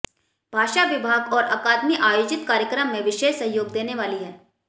भाषा विभाग और अकादमी आयोजित कार्यक्रम में विशेष सहयोग देने वाली है